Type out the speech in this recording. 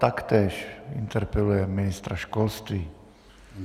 Taktéž interpeluje ministra školství.